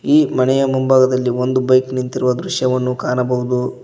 ಈ ಮನೆಯ ಮುಂಭಾಗದಲ್ಲಿ ಒಂದು ಬೈಕ್ ನಿಂತಿರುವ ದೃಶ್ಯವನ್ನು ಕಾಣಬಹುದು.